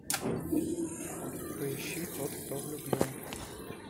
поищи тот кто влюблен